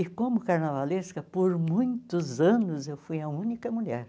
E como carnavalesca, por muitos anos, eu fui a única mulher.